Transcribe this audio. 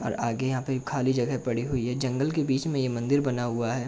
और आगे यहां पे खाली जगह पड़ी हुई है। जगंल के बीच में ये मंदिर बना हुआ है।